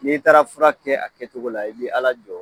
N'i taara fura kɛ a kɛcogo la i b'i ala jɔ yɔrɔ ye